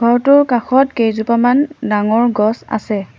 ঘৰটোৰ কাষত কেইজোপামান ডাঙৰ গছ আছে।